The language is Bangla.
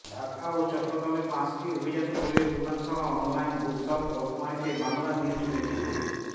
ঢাকা ও চট্টগ্রামের পাঁচটি অভিজাত বইয়ের দোকানসহ অনলাইন বুকশপ রকমারিতে বাংলানিউজটোয়েন্টিফোর